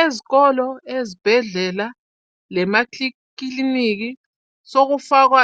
Ezikolo, ezibhedlela lemakiliniki sokufakwa